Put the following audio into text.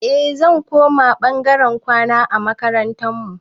Eh zan koma ɓangaren kwana a makarantar mu